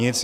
Nic.